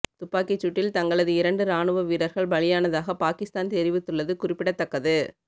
துப்பாக்கிச் சூட்டில் தங்களது இரண்டு ராணுவ வீர்ர்கள் பலியானதாக பாகிஸ்தான் தெரிவித்துள்ளது குறிப்பிடத்தக்கது